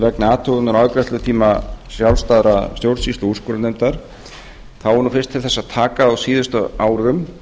vegna athugunar á afgreiðslutíma sjálfstæðra stjórnsýslu og úrskurðarnefnda er nú fyrst til þess að taka að á síðustu árum